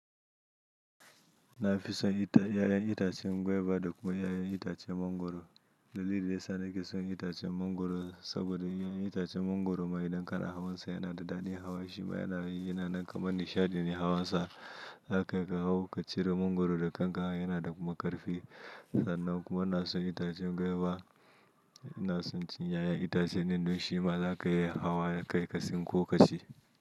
Na fi son ita--yayan itacen guava da kuma yayan itacen mangwaro. Dalilin da yasa nake son itacen mangwaro saboda yayan itacen mangwaro ma idan ka na hawan sa yana da dadin hawa shi ma yanayi yana nan kamar nishaɗi ne hawan sa. Zaka iya ka hau ka ciro mangwaro da kanka, yana da kuma ƙarfi. Sannan kuma ina son itacen guava, ina son cin yayan itacen din don shi ma zaka iya hawa kawai ka sinko ka ci.